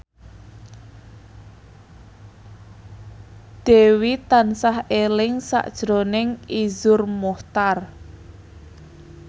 Dewi tansah eling sakjroning Iszur Muchtar